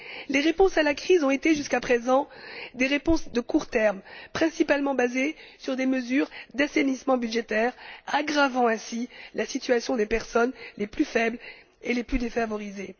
Les réponses à la crise ont été, jusqu'à présent, des réponses de court terme, principalement basées sur des mesures d'assainissement budgétaire, aggravant ainsi la situation des personnes les plus faibles et les plus défavorisées.